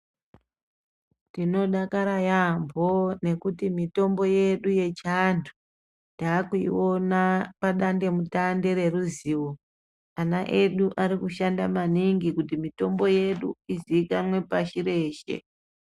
Tinodakara yambo ngekuti mitombo yedu yechiantu takuiona padandemutande reruzivo ana edu arikushanda maningi kuti mitombo yedu izikanwe pashi reshe.